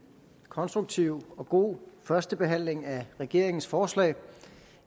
konstruktiv og god første behandling af regeringens forslag